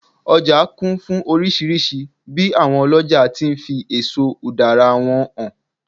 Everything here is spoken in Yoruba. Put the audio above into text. ọja kún fún oríṣìíríṣìí bi awon oloja ti n fi eso udara wọn hàn